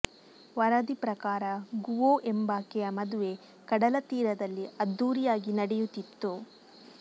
ವರದಿ ಪ್ರಕಾರ ಗುವೋ ಎಂಬಾಕೆಯ ಮದುವೆ ಕಡಲ ತೀರದಲ್ಲಿ ಅದ್ಧೂರಿಯಾಗಿ ನಡೆಯುತ್ತಿತ್ತು